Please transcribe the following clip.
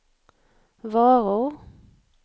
varor